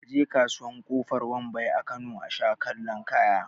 A je kasuwar kofar wambai a Kano asha kallon kaya